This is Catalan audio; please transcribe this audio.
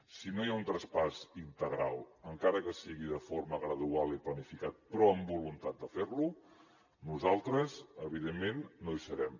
si no hi ha un traspàs integral encara que sigui de forma gradual i planificat però amb voluntat de fer lo nosaltres evidentment no hi serem